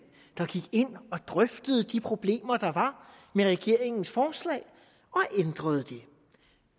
der gik ind og drøftede de problemer der var med regeringens forslag og ændrede det